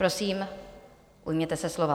Prosím, ujměte se slova.